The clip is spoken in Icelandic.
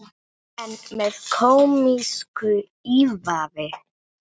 Já, en með kómísku ívafi.